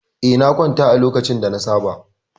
Eh, na kwanta a lokacin da na saba.